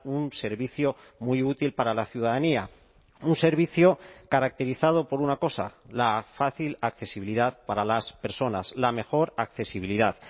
un servicio muy útil para la ciudadanía un servicio caracterizado por una cosa la fácil accesibilidad para las personas la mejor accesibilidad